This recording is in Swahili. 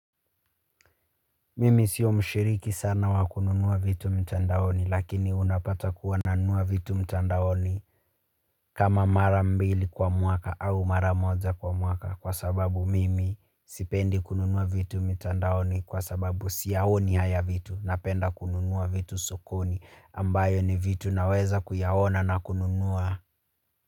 Mimi sio mshiriki sana wa kununua vitu mtandaoni lakini unapata kuwa nanua vitu mtandaoni kama mara mbili kwa mwaka au mara moja kwa mwaka kwa sababu mimi sipendi kununua vitu mtandaoni kwa sababu siyaoni haya vitu napenda kununua vitu sokoni ambayo ni vitu naweza kuyaona na kununua.